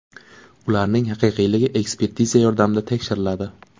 Ularning haqiqiyligi ekspertiza yordamida tekshiriladi.